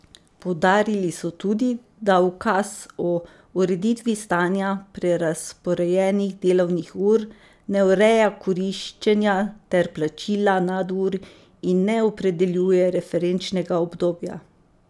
Poudarili so tudi, da ukaz o ureditvi stanja prerazporejenih delovnih ur ne ureja koriščenja ter plačila nadur in ne opredeljuje referenčnega obdobja.